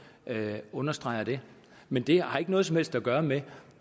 understreger det men det har ikke noget som helst at gøre med